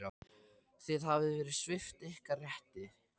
Þið hafið verið svipt ykkar rétti.